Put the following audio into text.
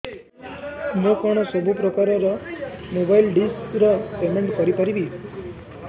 ମୁ କଣ ସବୁ ପ୍ରକାର ର ମୋବାଇଲ୍ ଡିସ୍ ର ପେମେଣ୍ଟ କରି ପାରିବି